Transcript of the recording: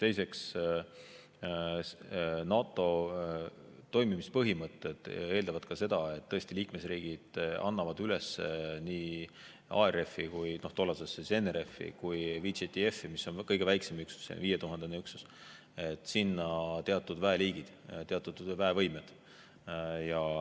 Teiseks, NATO toimimispõhimõtted eeldavad seda, et liikmesriigid annavad nii ARF‑i ehk senisesse NRF‑i kui ka VJTF‑i, mis on kõige väiksem, viietuhandene üksus, üles teatud väeliigid, teatud väevõimed.